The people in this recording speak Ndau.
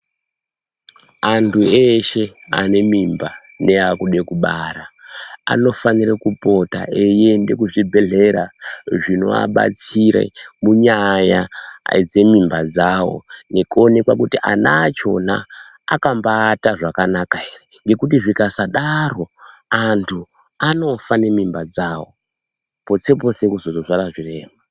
Antu eshe ane mimba neakude kubara anofanire kupota eiende kuzvibhadhlera zvinoabatsire munyaya dzemimba dzawo nekuonekwe kuti ana achona akaata zvakanaka here ngekuti zvikasadaro antu anofa nemimba dzawo, potse-potse kuzotobara zvirema.